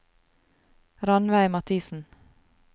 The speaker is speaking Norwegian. Ranveig Mathisen